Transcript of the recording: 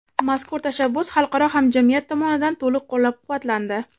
mazkur tashabbus xalqaro hamjamiyat tomonidan to‘liq qo‘llab-quvvatlandi.